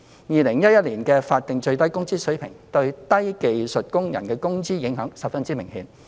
2011年推行的法定最低工資水平對低技術工人工資的影響十分明顯。